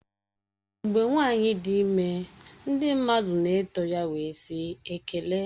Mgbe nwanyi dị ime ndị mmadụ na-eto ya wee sị "Ekele"